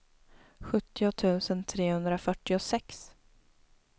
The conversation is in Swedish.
sjuttio tusen trehundrafyrtiosex